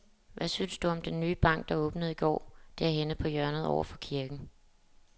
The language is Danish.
Hvad synes du om den nye bank, der åbnede i går dernede på hjørnet over for kirken?